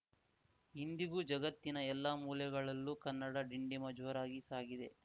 ಇಂದಿಗೂ ಜಗತ್ತಿನ ಎಲ್ಲ ಮೂಲೆಗಳಲ್ಲೂ ಕನ್ನಡ ಡಿಂಡಿಮ ಜೋರಾಗಿ ಸಾಗಿದೆ